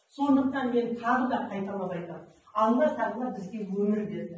сондықтан мен тағы да қайталап айтамын алла тағала бізге өмір берді